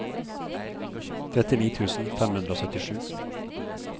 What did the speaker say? trettini tusen fem hundre og syttisju